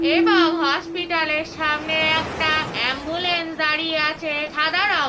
এবং হসপিটাল -এর সামনে একটা অ্যাম্বুলেন্স দাঁড়িয়ে আছে সাদা রঙ্--